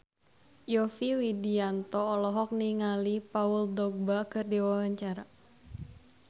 Yovie Widianto olohok ningali Paul Dogba keur diwawancara